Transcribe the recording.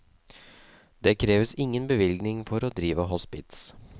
Det kreves ingen bevilling for å drive hospits.